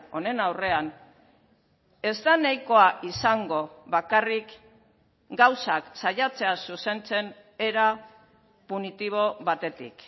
honen aurrean ez da nahikoa izango bakarrik gauzak saiatzea zuzentzen era punitibo batetik